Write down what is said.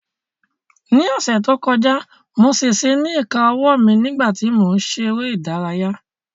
Ní ọ̀sẹ̀ tó kọjá mo ṣèṣe ní ìka owó mi nígbà tí mò ń ṣe eré ìdárayá